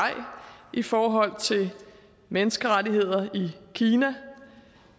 i forhold til menneskerettigheder i kina